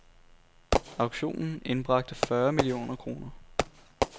Auktionen indbragte fyrre millioner kroner.